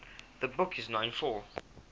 the book is known for